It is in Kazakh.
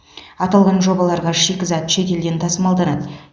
аталған жобаларға шикізат шетелден тасымалданады